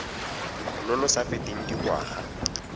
lo lo sa feteng dingwaga